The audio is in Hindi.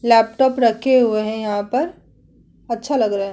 लैपटॉप रखें हुए हैं यहाँ पर अच्छा लग रहा है।